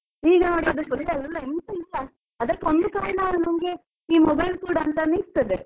ಈಗ ನೋಡಿ ಅದಿಕ್ಕೆ ಒಂದು ಕಾರಣ mobile ಕೂಡ ಇರ್ತದೆ.